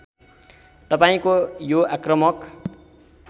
तपाईँको यो आक्रामक